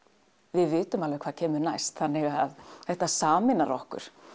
við vitum alveg hvað kemur næst þannig þetta sameinar okkur